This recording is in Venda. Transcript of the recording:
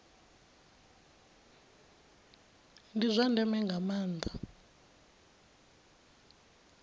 ndi zwa ndeme nga maanda